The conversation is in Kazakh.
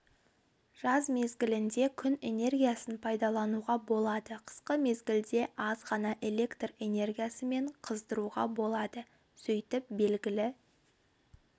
жаз мезгілінде күн энергиясын пайдалануға болады қысқы мезгілде аз ғана электр энергиясымен қыздыруға болады сөйтіп белгілі